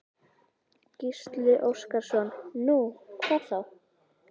Gísli Óskarsson: Nú, hvað þá?